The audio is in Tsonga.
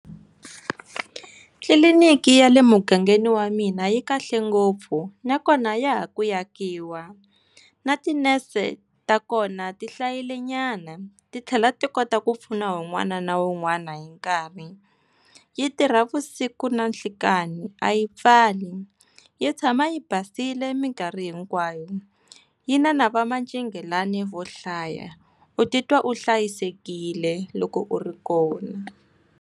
Tliliniki ya le mugangeni wa mina yi kahle ngopfu nakona ya ha ku akiwa, na tinese ta kona ti hlayile nyana titlhela ti kota ku pfuna wun'wana na wun'wana hi nkarhi. Yi tirha vusiku na nhlekani a yi pfali, yi tshama yi basile minkarhi hinkwayo yi na na vamacingelani vo hlaya, u titwa u hlayisekile loko u ri kona.